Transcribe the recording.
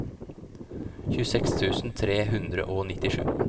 tjueseks tusen tre hundre og nittisju